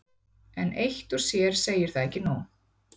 en eitt og sér segir það ekki nóg